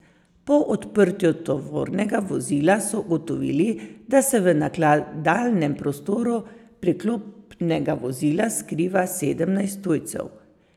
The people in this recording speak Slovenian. Po odprtju tovornega vozila so ugotovili, da se v nakladalnem prostoru priklopnega vozila skriva sedemnajst tujcev.